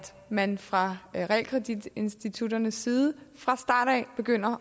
man fra realkreditinstitutternes side fra starten af begynder